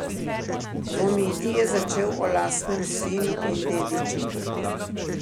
Dvomiti je začel o lastnem sinu in dediču.